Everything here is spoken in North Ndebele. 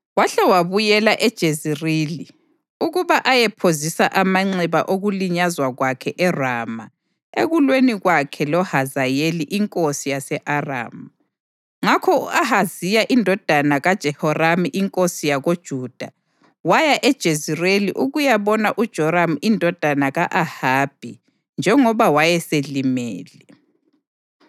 wahle wabuyela eJezerili ukuba ayephozisa amanxeba okulinyazwa kwakhe eRama ekulweni kwakhe loHazayeli inkosi yase-Aramu. Ngakho u-Ahaziya indodana kaJehoramu inkosi yakoJuda waya eJezerili ukuyabona uJoramu indodana ka-Ahabi njengoba wayeselimele.